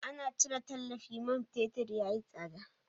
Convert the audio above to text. Ana cire tallafi man fetur ya yi tsada.